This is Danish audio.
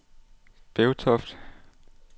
Bevtoft